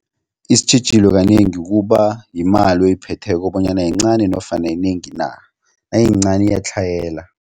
Isitjhijilo kanengi kuba yimali oyiphetheko bonyana yincani nofana yinengi na, nayiyincani iyatlhayela.